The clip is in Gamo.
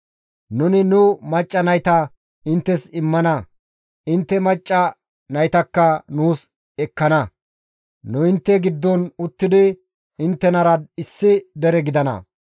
Nuni nu macca nayta inttes immana intte macca naytakka nuus ekkana; nu intte giddon uttidi inttenara issi dere gidana.